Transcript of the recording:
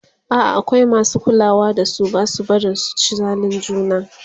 a'a akwai masu kulawa da su Basu barin su ci zalin juna